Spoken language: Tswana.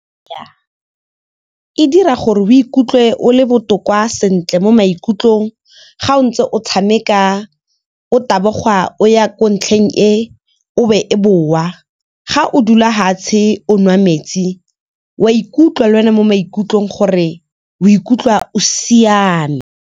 E dira gore o ikutlwe o le botoka sentle mo maikutlong ga o ntse o tshameka o taboga o ya ko ntlheng e o be o boa, ga o dula hatshe o nwa metsi, o a ikutlwa le wena mo maikutlong gore o ikutlwa o siame.